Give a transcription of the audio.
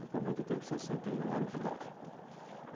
Atualmente eu tenho sessenta e um anos de idade.